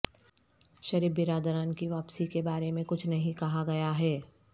شریف برادران کی واپسی کے بارے میں کچھ نہیں کہا گیا ہے